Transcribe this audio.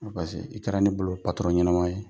i kɛra ne bolo ɲɛnama ye,